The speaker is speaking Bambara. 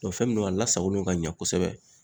fɛn min no a lasagolen don kaɲɛ kosɛbɛ.